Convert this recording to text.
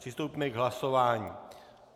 Přistoupíme k hlasování.